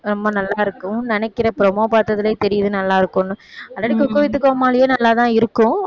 ரொம்ப நல்லாயிருக்கும் நினைக்கிறேன் promo பாத்ததிலயே தெரியுது நல்லாயிருக்குன்னு குக் வித் கோமாளியும் நல்லாதான் இருக்கும்